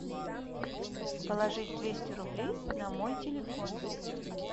положить двести рублей на мой телефон